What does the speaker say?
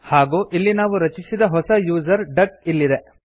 ಹಾಗೂ ಇಲ್ಲಿ ನಾವು ರಚಿಸಿದ ಹೊಸ ಯೂಸರ್ ಡಕ್ ಇಲ್ಲಿದೆ